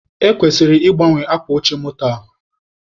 E kwesịrị ị gbanwe akwa oche moto a.